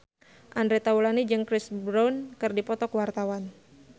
Andre Taulany jeung Chris Brown keur dipoto ku wartawan